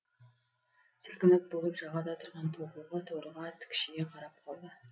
сілкініп болып жағада тұрған тобылғы торыға тікшие қарап қалды